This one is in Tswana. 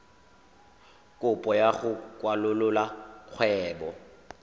kopo ya go kwalolola kgwebo